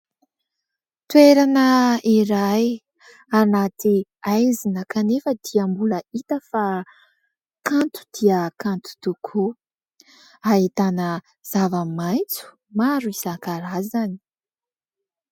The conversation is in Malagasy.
Toerana iray anaty haizina kanefa dia mbola hita fa kanto dia kanto tokoa ahitana zava-maintso maro isan-karazany